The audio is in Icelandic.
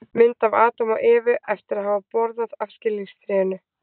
Mynd af Adam og Evu eftir að hafa borðað af skilningstrénu.